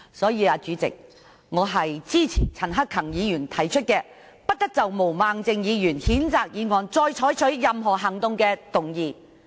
因此，主席，我支持陳克勤議員提出的"不得就譴責議案再採取任何行動"的議案。